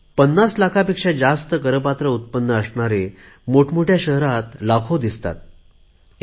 पन्नास लाखापेक्षा जास्त करपात्र उत्पन्न असणारे मोठमोठया शहरात लाखोंच्या संख्येत दिसतात